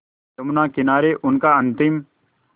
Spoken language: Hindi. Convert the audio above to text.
यमुना किनारे उनका अंतिम